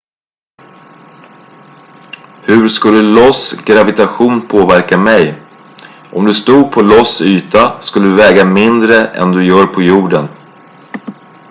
hur skulle ios gravitation påverka mig om du stod på ios yta skulle du väga mindre än du gör på jorden